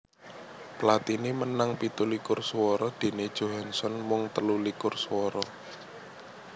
Platini menang pitu likur suwara déné Johansson mung telu likur swara